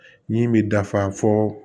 Min bɛ dafa fɔ